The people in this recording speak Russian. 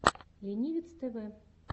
ленивец тэвэ